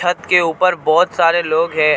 छत के ऊपर बोहोत सारे लोग हैं और--